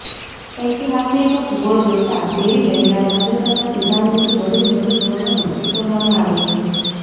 ઐતિહાસિક ભૂગોળવેત્તા બેરી વેનના તાજેતરના સિદ્ધાંતથી વધુ જટિલ વર્ણનો સૂચવવામાં આવે છે